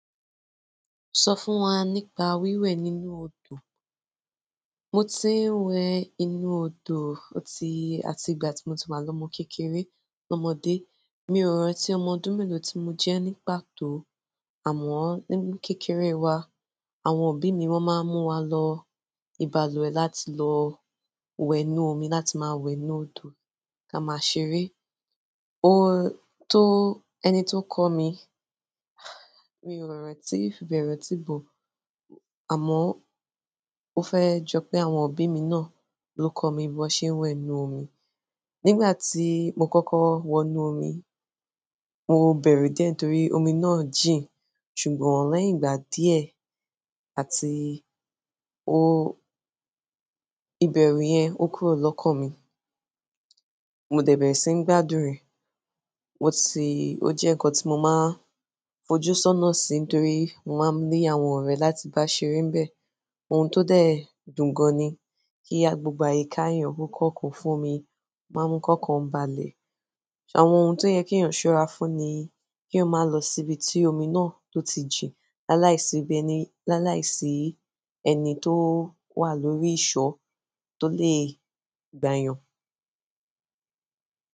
Sọ fún wa nípa wíwẹ̀ nínú odò. Mo ti ń wẹ nínú odò ó ti-- àti ìgbà tí mo ti wà lọ́mọ kékeré lọ́mọdé. Mi ò rántí ọmọ ọdún mélòó tí mo jẹ́ nípa tó, àmọ́ nínú kékeré wa àwọn òbí mi wọ́n máa ń mú wa lọ ìbalùwẹ̀ láti lọ wẹ inú omi, láti máa wẹ inú odò ká máa ṣeré. O-- tó ẹni tó kọ mi, mi ò rántí, bẹrẹ tí bò, àmọ́ ó fẹ́ jọ pé àwọn òbí mi náà ló kọ́ mi bi wọn ṣe wẹ nínú omí nígbà tí mo kọ́kọ́ wọnú omi, mo bẹ̀rù díẹ̀ torí omi náà jìn, ṣùgbọ́n lẹ́yìn ìgbà díẹ̀ àti o-- ìbẹ̀rù yẹn ó kúrò lọ́kàn mi. Mo dẹ̀ bẹ̀rẹ̀ sí ń gbádùn rẹ̀. Mo sì o jẹ nkán ti mó máa n fojú sónà si nítorí mo má ni àwọn ọrẹ láti bá ṣeré níbẹ̀. Ohun tó dẹ̀ dùn gan-an ni kí gbogbo àyíká èèyàn kò kan kún fún omi máa mú kọ́ kàn balẹ̀. Àwọn ohun tó yẹ kí èèyàn ṣọ́ra fún ni kí èèyàn máa lọ síbi tí omi náà tó ti jìn. Láàláìsí ibi ẹni, láàláìsí ẹni tó wà lórí ìsọ̀ tó le gbàyàn.